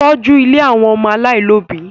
Tọ́jú ilé àwọn ọmọ aláìlóbi!